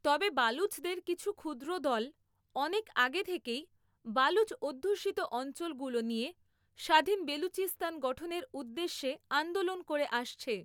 তবে বালুচদের কিছু ক্ষু্দ্র দল অনেক আগে থেকেই বালুচ অধ্যুষিত অঞ্চলগুলো নিয়ে স্বাধাীন বেলুচিস্তান গঠনের উদ্দেশ্যে আন্দোলন করে আসছে।